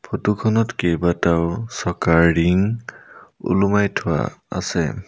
Photo খনত কেইবাটাও চকাৰ ৰিং ওলোমাই থোৱা আছে।